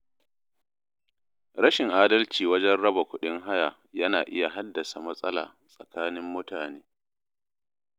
Rashin adalci wajen raba kuɗin haya yana iya haddasa matsala tsakanin mutane.